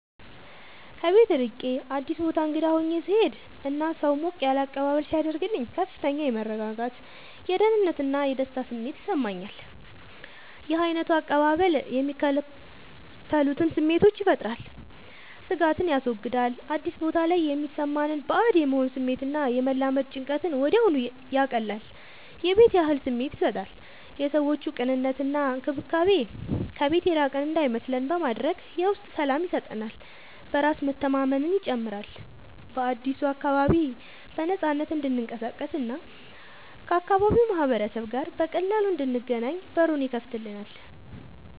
ከቤት ርቄ አዲስ ቦታ እንግዳ ሆኜ ስሄድ እና ሰው ሞቅ ያለ አቀባበል ሲያደርግልኝ ከፍተኛ የመረጋጋት፣ የደህንነት እና የደስታ ስሜት ይሰማኛል። ይህ ዓይነቱ አቀባበል የሚከተሉትን ስሜቶች ይፈጥራል፦ ስጋትን ያስወግዳል፦ አዲስ ቦታ ላይ የሚሰማንን ባዕድ የመሆን ስሜት እና የመላመድ ጭንቀትን ወዲያውኑ ያቀልላል። የቤት ያህል ስሜት ይሰጣል፦ የሰዎቹ ቅንነት እና እንክብካቤ ከቤት የራቅን እንዳይመስለን በማድረግ የውስጥ ሰላም ይሰጠናል። በራስ መተማመንን ይጨምራል፦ በአዲሱ አካባቢ በነፃነት እንድንቀሳቀስ እና ከአካባቢው ማህበረሰብ ጋር በቀላሉ እንድንገናኝ በሩን ይከፍትልናል።